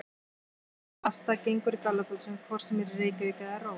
Fólk borðar pasta og gengur í gallabuxum hvort sem er í Reykjavík eða Róm.